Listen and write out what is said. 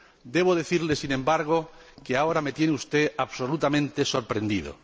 Debo decirle, sin embargo, que ahora me tiene usted absolutamente sorprendido.